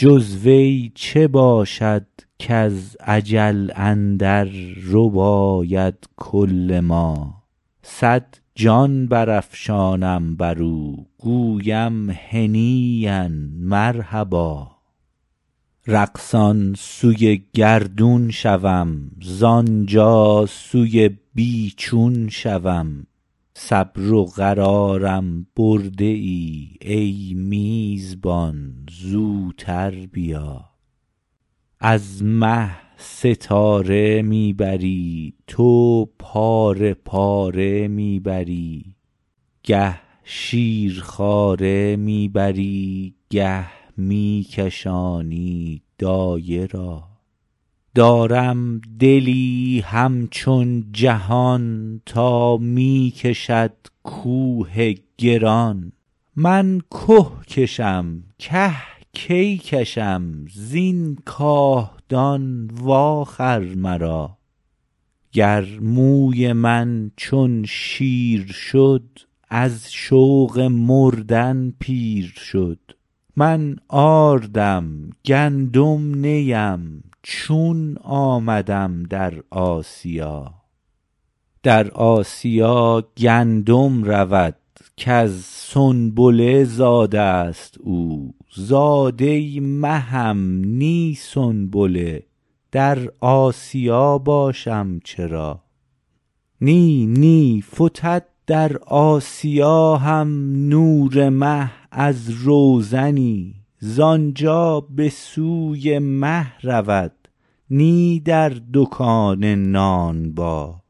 جز وی چه باشد کز اجل اندر رباید کل ما صد جان برافشانم بر او گویم هنییا مرحبا رقصان سوی گردون شوم زان جا سوی بی چون شوم صبر و قرارم برده ای ای میزبان زوتر بیا از مه ستاره می بری تو پاره پاره می بری گه شیرخواره می بری گه می کشانی دایه را دارم دلی همچون جهان تا می کشد کوه گران من که کشم که کی کشم زین کاهدان واخر مرا گر موی من چون شیر شد از شوق مردن پیر شد من آردم گندم نی ام چون آمدم در آسیا در آسیا گندم رود کز سنبله زاده ست او زاده مهم نی سنبله در آسیا باشم چرا نی نی فتد در آسیا هم نور مه از روزنی زان جا به سوی مه رود نی در دکان نانبا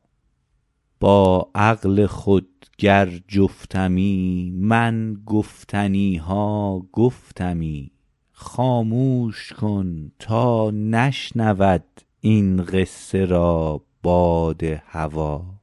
با عقل خود گر جفتمی من گفتنی ها گفتمی خاموش کن تا نشنود این قصه را باد هوا